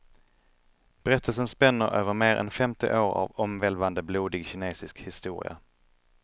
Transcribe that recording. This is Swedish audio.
Berättelsen spänner över mer än femtio år av omvälvande, blodig kinesisk historia.